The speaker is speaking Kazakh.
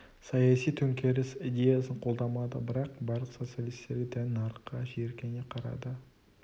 саяси төңкеріс идеясын қолдамады бірақ барлық социалистерге тән нарыққа жиіркене қарады